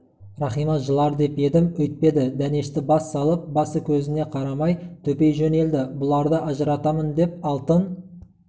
рахима жылар деп едім өйтпеді дәнешті бас салып басы-көзіне карамай төпей жөнелді бұларды ажыратамын деп алтын